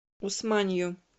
усманью